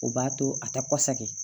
O b'a to a tɛ kɔsakɛ kɛ